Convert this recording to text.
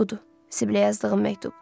Budur, Sibile yazdığım məktub.